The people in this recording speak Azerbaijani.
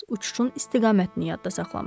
Yalnız uçuşun istiqamətini yadda saxlamışdı.